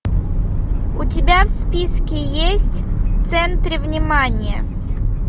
у тебя в списке есть в центре внимания